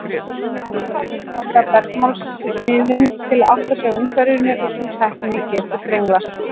Tannhvalir nota bergmálsmiðun til að átta sig á umhverfinu og sú tækni getur brenglast.